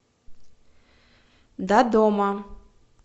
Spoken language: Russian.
додома